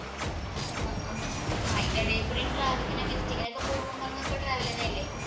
ആഹ് അഹ് അതിന്‍റെ എടെകൂടെ traveling ഇനും, traveling തന്നെ അല്ലേ.